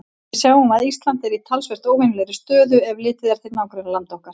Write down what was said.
Við sjáum að Ísland er í talsvert óvenjulegri stöðu, ef litið er til nágrannalanda okkar.